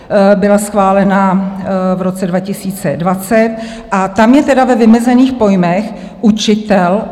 Byla schválena v roce 2020 a tam je tedy ve vymezených pojmech učitel.